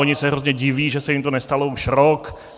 Oni se hrozně diví, že se jim to nestalo už rok.